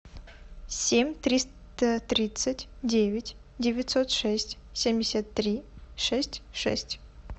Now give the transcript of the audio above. семь триста тридцать девять девятьсот шесть семьдесят три шесть шесть